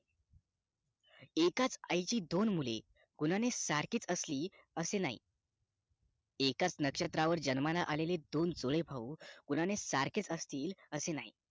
एकाच आई ची दोन मुले गुणाने सारखेच असतील असे नाही एकाच नक्षत्रावर जन्माला आलेले दोन जुळे भाऊ गुणांनी सारखेच असतील असे नाही